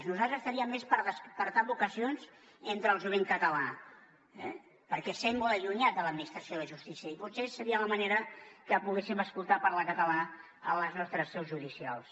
nosaltres faríem més per despertar vocacions entre el jovent català eh perquè sembla allunyat de l’administració de justícia i potser seria la manera que poguéssim escoltar parlar català a les nostres seus judicials